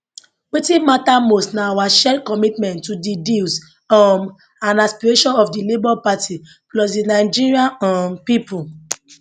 wetin mata most na our shared commitment to di deals um and aspirations of di labour party plus di nigerian um pipu